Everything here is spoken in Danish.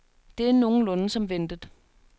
Det er nogenlunde som ventet.